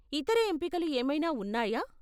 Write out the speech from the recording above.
ఇతర ఎంపికలు ఏమైనా ఉన్నాయా ?